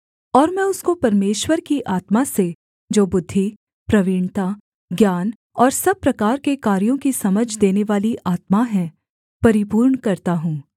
और मैं उसको परमेश्वर की आत्मा से जो बुद्धि प्रवीणता ज्ञान और सब प्रकार के कार्यों की समझ देनेवाली आत्मा है परिपूर्ण करता हूँ